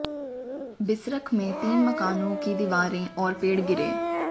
बिसरख में तीन मकानों की दीवारें और पेड़ गिरे